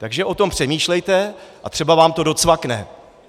Takže o tom přemýšlejte a třeba vám to docvakne!